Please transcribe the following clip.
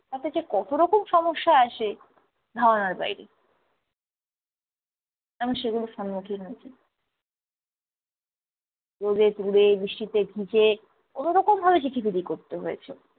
তাতে যে কতরকম সমস্যা আসে ধারণার বাইরে। আমি সেগুলোর স্মুখীন হয়েছি। রোদে পুড়ে বৃষ্টিতে ভিজে কোনো রকম ভাবে চিঠি বিলি করতে হয়েছে।